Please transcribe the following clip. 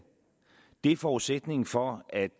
det er forudsætningen for at